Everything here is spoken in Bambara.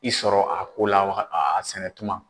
I sɔrɔ a ko la waga a a sɛnɛ tuma.